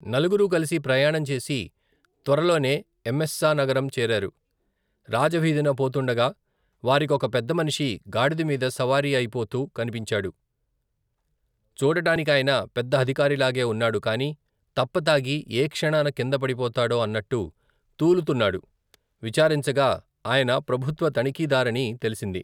నలుగురూ కలిసి ప్రయాణం చేసి త్వరలోనే ఎమెస్సానగరం చేరారు రాజవీధిన పోతుండగా వారికొక పెద్దమనిషి గాడిద మీద సవారీ అయి పోతూ కనిపించాడు చూడటానికాయన పెద్ద అధికారిలాగే ఉన్నాడు కాని తప్పతాగి ఏ క్షణాన కింద పడిపోతాడో అన్నట్టు, తూలుతున్నాడు విచారించగా ఆయన ప్రభుత్వ తణిఖీదారని తెలిసింది.